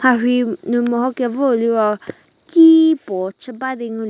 mharhi nu meho kevou liro ki puo chü ba di ngu--